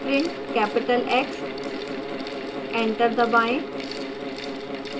print capital x enter दबाएं